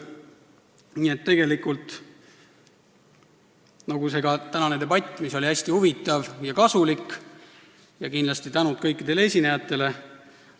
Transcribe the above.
Nii et see tänane debatt oli hästi huvitav ja kasulik – kindlasti suur tänu kõikidele esinejatele!